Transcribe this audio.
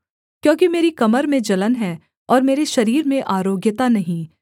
क्योंकि मेरी कमर में जलन है और मेरे शरीर में आरोग्यता नहीं